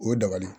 O ye dabali ye